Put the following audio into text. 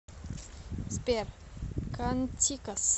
сбер кантикос